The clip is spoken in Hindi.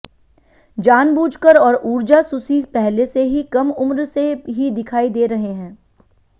जानबूझकर और ऊर्जा सुसी पहले से ही कम उम्र से ही दिखाई दे रहे हैं